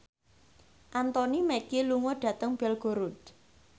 Anthony Mackie lunga dhateng Belgorod